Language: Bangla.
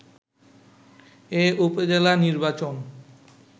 এ উপজেলা নির্বাচন